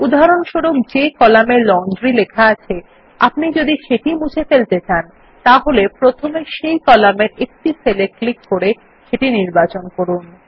উদাহরণস্বরূপ যে কলামে লন্ড্রি লেখা আছে আপনি যদি সেটি মুছে ফেলতে চান তাহলে প্রথমে সেই কলামের একটি সেল এ ক্লিক করে সেটি নির্বাচন করুন